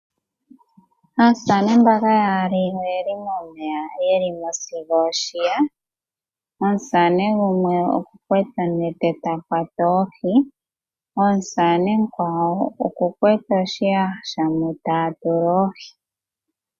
Aasamane mbano yaali oyeli momeya yelimo sigo oshiya. Omusamane gumwe okuna onete ta kwata oohi, omusamane omukwawo okuna oshiyaha moka taya tula oohi.